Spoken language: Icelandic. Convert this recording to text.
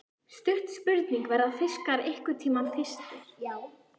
Stutt spurning, verða fiskar einhverntímann þyrstir!??